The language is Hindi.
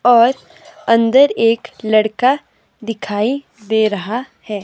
और अंदर एक लड़का दिखाई दे रहा है।